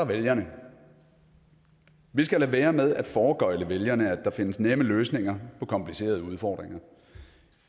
vælgerne vi skal lade være med at foregøgle vælgerne at der findes nemme løsninger på komplicerede udfordringer